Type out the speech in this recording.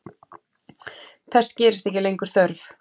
Þess gerist ekki lengur þörf.